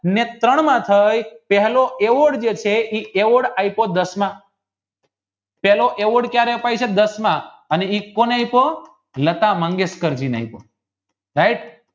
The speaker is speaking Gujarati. ને ત્રણ માં થાય પહેલો eavord જે છે એ eavord દસમા પહેલો eavord જે દસમા અને એ કોને આપ્યો લતા મંગેશકર જઈને right